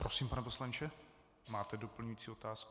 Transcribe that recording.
Prosím, pane poslanče, máte doplňující otázku.